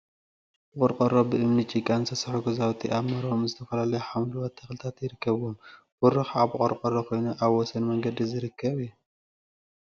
ብቆርቆሮ፣ ብእምኒን ጭቃን ዝተሰርሑ ገዛውቲ አብ መረብኦም ዝተፈላለዩ ሓምለዎት ተክሊታት ይርከቡዎም፡፡ በሩ ከዓ ብቆርቆሮ ኮይኑ አብ ወሰን መንገዲ ዝርከብ እዩ፡፡